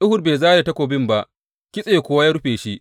Ehud bai zare takobin ba, kitse kuwa ya rufe shi.